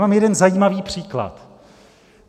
Mám jeden zajímavý příklad.